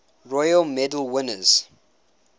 royal medal winners